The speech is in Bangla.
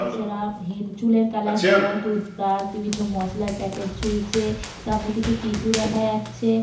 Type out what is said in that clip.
এছাড়া হেন চুলের কালার হেনা টুথ ব্রাশ বিভিন্ন মসলার প্যাকেট ঝুলছে। সামনে কিছু টিস্যু দেখা যাচ্ছে।